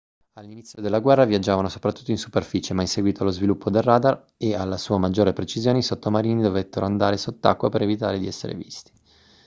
all'inizio della guerra viaggiavano soprattutto in superficie ma in seguito allo sviluppo del radar e alla sua maggiore precisione i sottomarini dovettero andare sott'acqua per evitare di essere visti